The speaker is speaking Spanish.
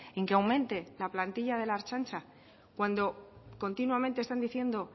en que aumente la plantilla de la ertzaintza cuando continuamente están diciendo